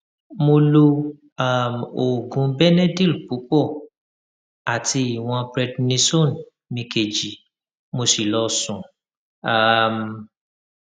mo lo um oògùn benedyl púpọ àti ìwọn prednisone mi kejì mo sì lọ sùn um